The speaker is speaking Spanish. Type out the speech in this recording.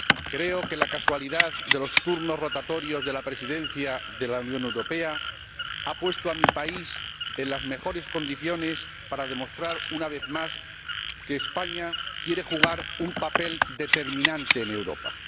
Creo que la casualidad de los turnos rotatorios de la Presidencia de la Unión Europea ha puesto a mi país en las mejores condiciones para demostrar, una vez más, que España quiere jugar un papel determinante en Europa.